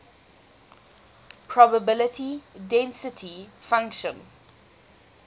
probability density function